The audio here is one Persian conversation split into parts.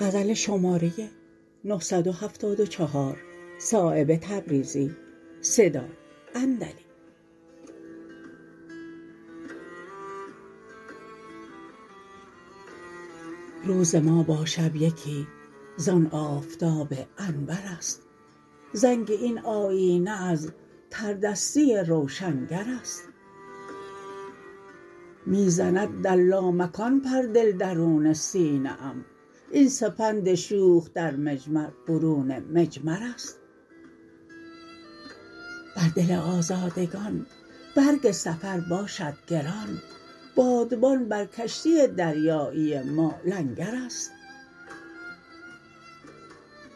روز ما با شب یکی زان آفتاب انورست زنگ این آیینه از تردستی روشنگرست می زند در لامکان پر دل درون سینه ام این سپند شوخ در مجمر برون مجمرست بر دل آزادگان برگ سفر باشد گران بادبان بر کشتی دریایی ما لنگرست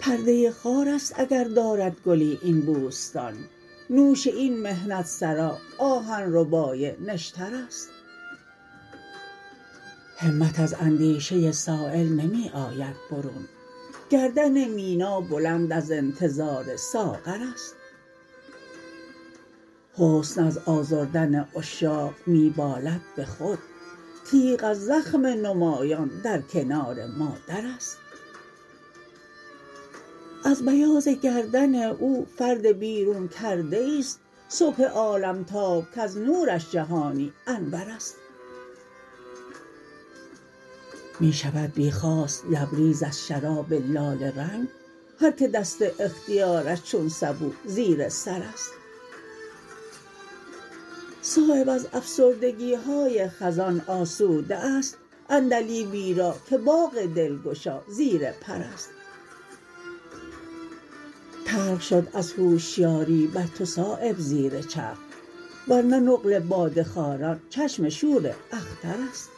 پرده خارست اگر دارد گلی این بوستان نوش این محنت سرا آهن ربای نشترست همت از اندیشه سایل نمی آید برون گردن مینا بلند از انتظار ساغرست حسن از آزردن عشاق می بالد به خود تیغ از زخم نمایان در کنار مادرست از بیاض گردن او فرد بیرون کرده ای است صبح عالمتاب کز نورش جهانی انورست می شود بی خواست لبریز از شراب لاله رنگ هر که دست اختیارش چون سبو زیر سرست صایب از افسردگی های خزان آسوده است عندلیبی را که باغ دلگشا زیر پرست تلخ شد از هوشیاری بر تو صایب زیر چرخ ورنه نقل باده خواران چشم شور اخترست